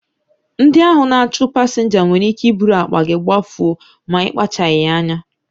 Ndị ahụ na-achụ pasinja nwere ike iburu akpa gị gbafuo ma ị kpachaghị anya